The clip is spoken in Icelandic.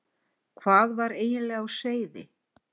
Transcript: Hvað var eiginlega á seyði?